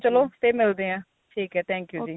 ਚਲੋ ਫੇਰ ਮਿਲਦੇ ਆ ਠੀਕ ਏ thank you ਜੀ